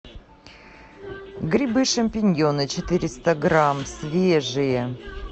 грибы шампиньоны четыреста грамм свежие